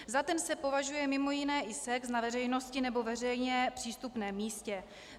Za ten se považuje mimo jiné i sex na veřejnosti nebo veřejně přístupném místě.